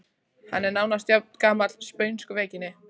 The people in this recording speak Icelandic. Hann er nánast jafngamall spönsku veikinni.